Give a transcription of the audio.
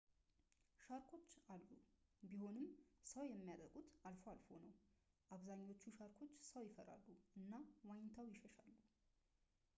ሻርኮች አሉ ቢሆንም ሰው የሚያጠቁት አልፎ አልፎ ነው አብዛኛዎቹ ሻርኮች ሰው ይፈራሉ እና ዋኝተው ይሸሻሉ